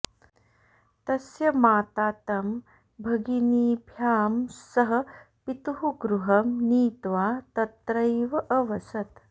तस्य माता तं भगिनीभ्यां सह पितुः गृहं नीत्वा तत्रैव अवसत्